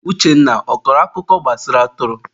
Uchenna, ọ kọrọ akụkọ gbasara atụrụ?